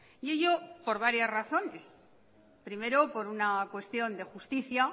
y ello por varias razones primero por una cuestión de justicia